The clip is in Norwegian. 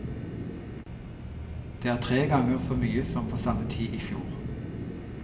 Det er tre ganger så mye som på samme tid i fjor.